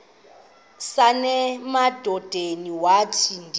nasemadodeni wathi ndilu